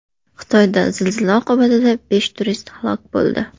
Xitoyda zilzila oqibatida besh turist halok bo‘ldi.